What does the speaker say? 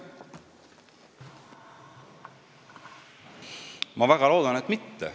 Ma väga loodan, et mitte.